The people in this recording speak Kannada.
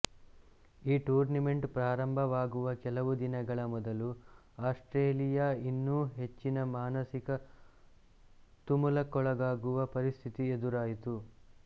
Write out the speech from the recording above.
ಈ ಟೂರ್ನಿಮೆಂಟ್ ಪ್ರಾರಂಭವಾಗುವ ಕೆಲವು ದಿನಗಳ ಮೊದಲು ಆಸ್ಟ್ರೇಲಿಯಾ ಇನ್ನೂ ಹೆಚ್ಚಿನ ಮಾನಸಿಕ ತುಮುಲಕ್ಕೊಳಗಾಗುವ ಪರಿಸ್ಥಿತಿ ಎದುರಾಯಿತು